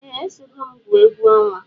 Eeh esogom gwụọ egwu onwa.